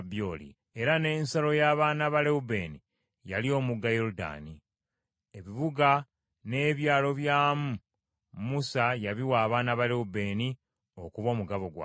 Era n’ensalo y’abaana ba Lewubeeni yali omugga Yoludaani. Ebibuga n’ebyalo byamu Musa yabiwa abaana ba Lewubeeni okuba omugabo gwabwe.